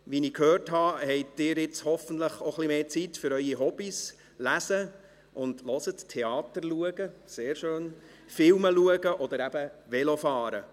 Wie ich gehört habe, haben Sie jetzt hoffentlich auch ein wenig mehr Zeit für Ihre Hobbies Lesen, Theater und Filme schauen oder eben Velofahren.